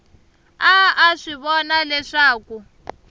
a a swi vona leswaku